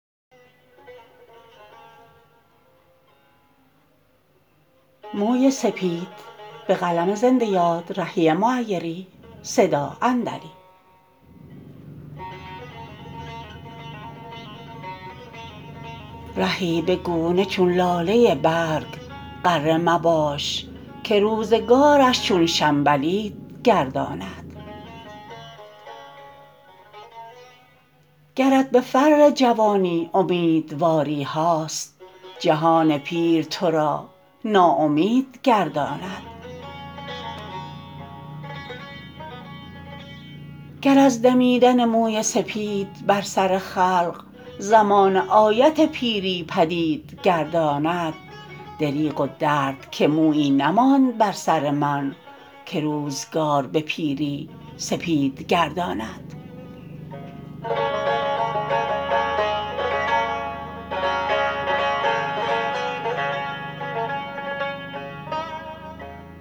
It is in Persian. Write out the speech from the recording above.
رهی به گونه چون لاله برگ غره مباش که روزگارش چون شنبلید گرداند گرت به فر جوانی امیدواری هاست جهان پیر ترا ناامید گرداند گر از دمیدن موی سپید بر سر خلق زمانه آیت پیری پدید گرداند دریغ و درد که مویی نماند بر سر من که روزگار به پیری سپید گرداند